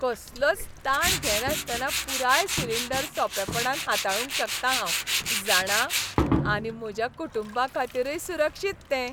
कसलोच ताण घेनासतना पुराय सिलिंडर सोंपेपणान हाताळूंक शकतां हांव, जाणा? आनी म्हज्या कुटुंबाखातीरय सुरक्षीत तें.